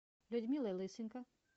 людмилой лысенко